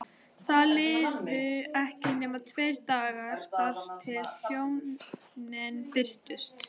Það liðu ekki nema tveir dagar þar til hjónin birtust.